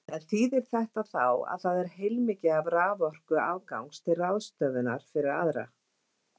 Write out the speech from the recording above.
En þýðir þetta þá að það er heilmikið af raforku afgangs til ráðstöfunar fyrir aðra?